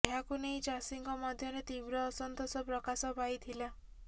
ଏହାକୁ ନେଇ ଚାଷୀଙ୍କ ମଧ୍ୟରେ ତୀବ୍ର ଅସନ୍ତୋଷ ପ୍ରକାଶ ପାଇଥିଲା